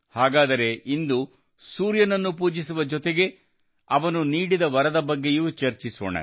ಹಾಗಾದರೆ ಇಂದು ಸೂರ್ಯನನ್ನು ಪೂಜಿಸುವ ಜೊತೆಗೆ ಅವನು ನೀಡಿದ ವರದ ಬಗ್ಗೆಯೂ ಚರ್ಚಿಸೋಣ